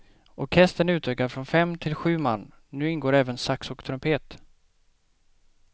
Orkestern är utökad från fem till sju man, nu ingår även sax och trumpet.